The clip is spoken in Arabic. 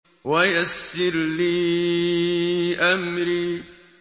وَيَسِّرْ لِي أَمْرِي